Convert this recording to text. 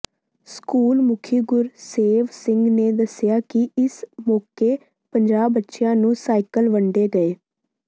school ਮੁਖੀ ਗੁਰਸੇਵ ਸਿੰਘ ਨੇ ਦੱਸਿਆ ਕਿ ਇਸ ਮੌਕੇ ਪੰਜਾਹ ਬੱਚੀਆਂ ਨੂੰ ਸਾਈਕਲ ਵੰਡੇ ਗਏ